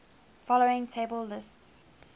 following table lists